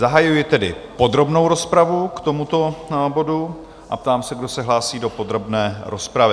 Zahajuji tedy podrobnou rozpravu k tomuto bodu a ptám se, kdo se hlásí do podrobné rozpravy?